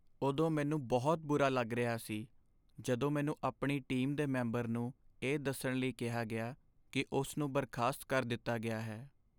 ਉਦੋਂ ਮੈਨੂੰ ਬਹੁਤ ਬੁਰਾ ਲੱਗ ਰਿਹਾ ਸੀ ਜਦੋਂ ਮੈਨੂੰ ਆਪਣੀ ਟੀਮ ਦੇ ਮੈਂਬਰ ਨੂੰ ਇਹ ਦੱਸਣ ਲਈ ਕਿਹਾ ਗਿਆ ਕਿ ਉਸ ਨੂੰ ਬਰਖਾਸਤ ਕਰ ਦਿੱਤਾ ਗਿਆ ਹੈ।